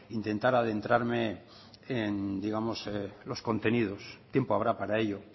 intentar adentrarme en digamos los contenidos tiempo habrá para ello